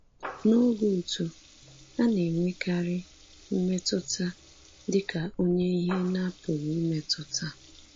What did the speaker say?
N’oge uto, a na-enwekarị mmetụta dịka onye ihe na-apụghị imetụta.